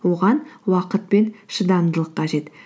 оған уақыт пен шыдамдылық қажет